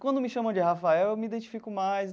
Quando me chamam de Rafael eu me identifico mais.